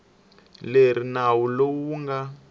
leri nawu lowu wu nga